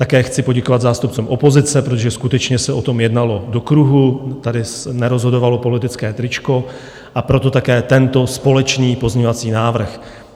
Také chci poděkovat zástupcům opozice, protože skutečně se o tom jednalo do kruhu, tady nerozhodovalo politické tričko, a proto také tento společný pozměňovací návrh.